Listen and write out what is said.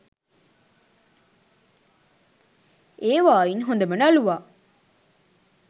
ඒවායින් හොඳම නළුවා